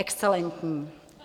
Excelentní.